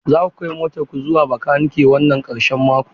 Za ku kai motar ku zuwa makanikan wannan karshen mako?